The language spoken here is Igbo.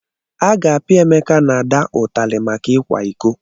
A ga-apia Emeka na Ada ụtali maka ikwa iko?